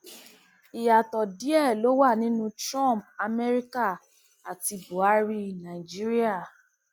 ìyàtọ díẹ ló wà nínú cs] trump amerika àti buhari nàìjíríà